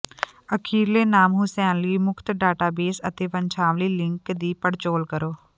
ਅਖੀਰਲੇ ਨਾਮ ਹੁਸੈਨ ਲਈ ਮੁਫ਼ਤ ਡਾਟਾਬੇਸ ਅਤੇ ਵੰਸ਼ਾਵਲੀ ਲਿੰਕ ਦੀ ਪੜਚੋਲ ਕਰੋ